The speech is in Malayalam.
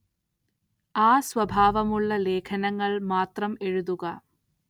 ആ സ്വഭാവമുള്ള ലേഖനങ്ങള്‍ മാത്രം എഴുതുക